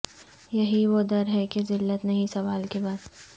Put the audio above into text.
یہی وہ در ہے کہ ذلت نہیں سوال کے بعد